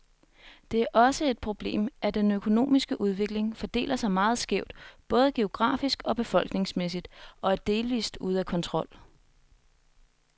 Det er også et problemet, at den økonomiske udvikling fordeler sig meget skævt, både geografisk og befolkningsmæssigt, og er delvist ude af kontrol.